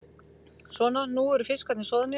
Svona, nú eru fiskarnir soðnir.